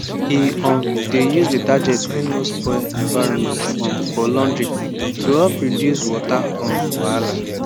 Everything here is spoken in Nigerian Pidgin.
e um dey use detergent wey no spoil environment um for laundry to help reduce water um wahala